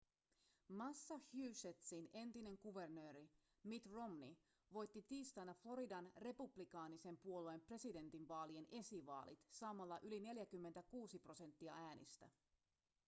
massachusettsin entinen kuvernööri mitt romney voitti tiistaina floridan republikaanisen puolueen presidentinvaalien esivaalit saamalla yli 46 prosenttia äänistä